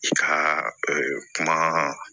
I ka kuma